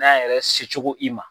N'a yɛrɛ secogo i ma